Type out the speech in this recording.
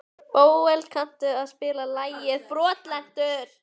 Bóel, kanntu að spila lagið „Brotlentur“?